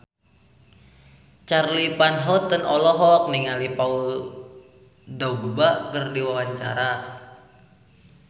Charly Van Houten olohok ningali Paul Dogba keur diwawancara